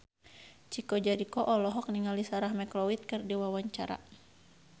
Chico Jericho olohok ningali Sarah McLeod keur diwawancara